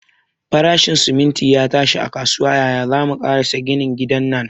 Farashin siminti ya tashi a kasuwa, yaya zamu karasa gina gidan nan?